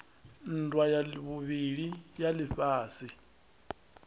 nndwa ya vhuvhili ya lifhasi